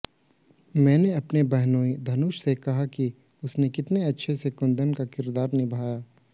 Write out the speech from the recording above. मैंने अपने बहनोई धनुष से कहा कि उसने कितने अच्छे से कुंदन का किरदार निभाया